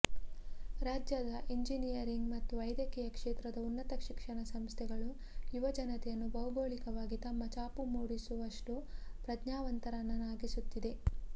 ರಾಜ್ಯದ ಎಂಜಿನಿಯರಿಂಗ್ ಮತ್ತು ವೈದ್ಯಕೀಯ ಕ್ಷೇತ್ರದ ಉನ್ನತ ಶಿಕ್ಷಣ ಸಂಸ್ಥೆಗಳು ಯುವ ಜನತೆಯನ್ನು ಭೌಗೋಳಿಕವಾಗಿ ತಮ್ಮ ಚಾಪು ಮೂಡಿಸುವಷ್ಟು ಪ್ರಜ್ಞಾವಂತರನ್ನಾಗಿಸುತ್ತಿದೆ